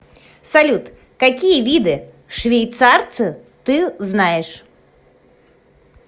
салют какие виды швейцарцы ты знаешь